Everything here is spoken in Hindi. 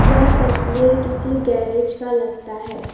यह तस्वीर किसी गैरेज का लगता है।